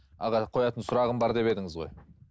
аға қоятын сұрағым бар деп едіңіз ғой